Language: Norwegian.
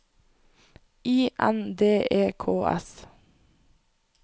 I N D E K S